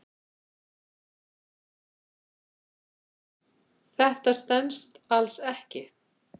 Þetta stenst alls ekki.